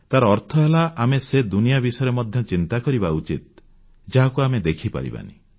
ତାର ଅର୍ଥ ହେଲା ଆମେ ସେ ଦୁନିଆ ବିଷୟରେ ମଧ୍ୟ ଚିନ୍ତା କରିବା ଉଚିତ ଯାହାକୁ ଆମେ ଦେଖିପାରିବାନି